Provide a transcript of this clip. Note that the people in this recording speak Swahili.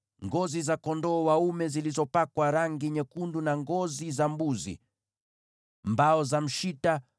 ngozi za kondoo dume zilizopakwa rangi nyekundu, na ngozi za pomboo; mbao za mshita;